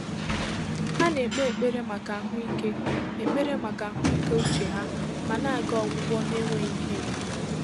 Há nà-ékpé ékpèré màkà àhụ́ị́ké ékpèré màkà àhụ́ị́ké úchè há mà nà-àgà ọgwụ́gwọ́ n’énwéghị́ íhérè.